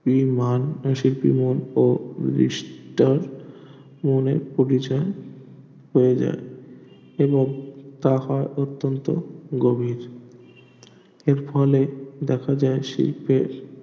নিষ্টা করে হয় যায় এবং তাহার অত্যন্ত গভীর আর ফলে দেখা যায় শিল্পে